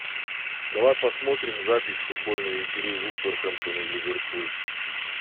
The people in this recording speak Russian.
давай посмотрим запись футбольной игры вулверхэмптон и ливерпуль